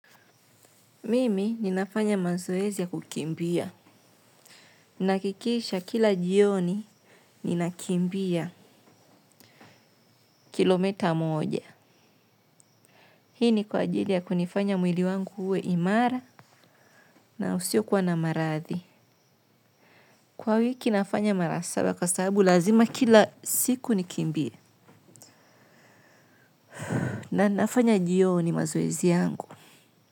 Mimi ninafanya mazoezi ya kukimbia. Nahakikisha kila jioni ninakimbia kilomita moja. Hii ni kwa ajili ya kunifanya mwili wangu uwe imara na usiokuwa na marathi. Kwa wiki nafanya mara saba kwa sababu lazima kila siku nikimbie. Na ninafanya jioni mazoezi yangu.